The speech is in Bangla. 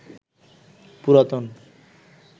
পুরাতন